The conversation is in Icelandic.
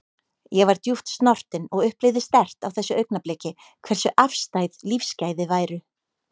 Ég var djúpt snortin og upplifði sterkt á þessu augnabliki hversu afstæð lífsgæði væru.